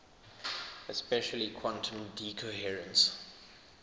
especially quantum decoherence